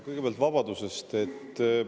Kõigepealt vabadusest.